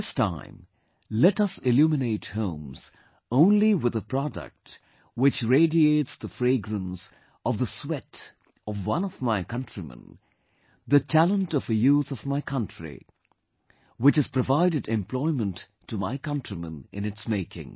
This time, let us illuminate homes only with a product which radiates the fragrance of the sweat of one of my countrymen, the talent of a youth of my country... which has provided employment to my countrymen in its making